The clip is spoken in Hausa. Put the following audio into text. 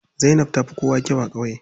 Zainab tafi kowa kyau a ƙauye.